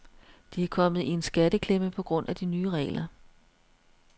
De er kommet i en skatteklemme på grund af de nye regler.